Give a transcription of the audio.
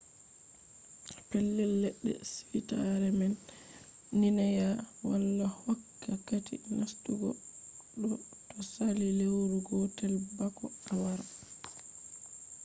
pellel ledde suitare man minae wala hokka kati nastugo to sali lewru gotel bako a wara